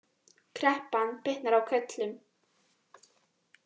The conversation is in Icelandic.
Kreppan bitnar á körlum